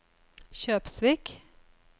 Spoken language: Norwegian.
Kjøpsvik